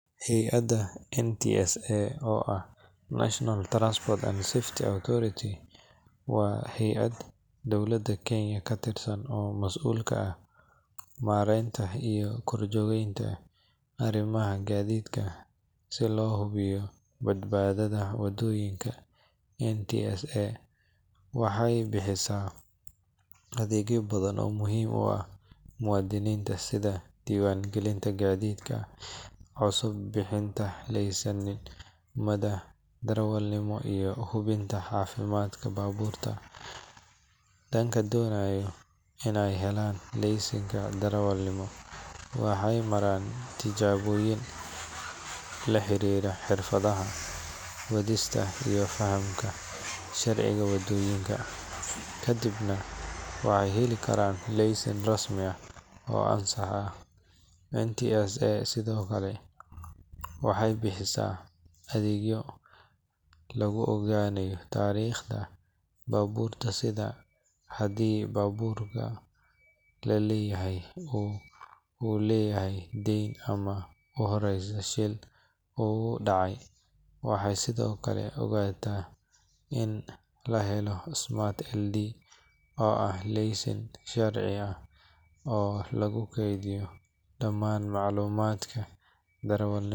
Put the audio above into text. Hay’adda NTSA oo ah National Transport and Safety Authority waa hay’ad dowladda Kenya ka tirsan oo mas’uul ka ah maareynta iyo korjoogteynta arrimaha gaadiidka si loo hubiyo badbaadada waddooyinka. NTSA waxay bixisaa adeegyo badan oo muhiim u ah muwaadiniinta sida diiwaangelinta gaadiidka cusub, bixinta laysimada darawalnimada, iyo hubinta caafimaadka baabuurta. Dadka doonaya in ay helaan laysinka darawalnimo waxay maraan tijaabooyin la xiriira xirfadaha wadista iyo fahamka sharciga waddooyinka, kadibna waxay heli karaan laysin rasmi ah oo ansax ah. NTSA sidoo kale waxay bixisaa adeegyo lagu ogaanayo taariikhda baabuurta sida haddii baabuurka la leeyahay, uu leeyahay dayn ama uu horey shil ugu dhacay. Waxay sidoo kale ogolaataa in la helo smart DL oo ah laysin casri ah oo lagu kaydiyo dhammaan macluumaadka darawalnimada.